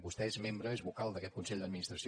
vostè és membre és vocal d’a·quest consell d’administració